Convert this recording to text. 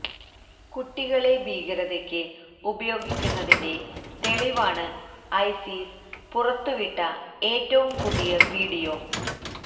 കുട്ടികളെ ഭീകരതയ്ക്ക് ഉപയോഗിക്കുന്നതിന്റെ തെളിവാണ് ഐസിസ് പുറത്തുവിട്ട ഏറ്റവും പുതിയ വീഡിയോ